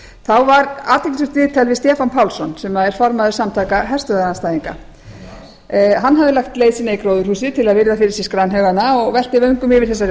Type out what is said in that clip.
þá var athyglisvert viðtal við stefán pálsson sem er formaður samtaka herstöðvaandstæðinga hann hafði lagt leið sína í gróðurhúsið til að virða fyrir sér skranhaugana og velti vöngum yfir þessari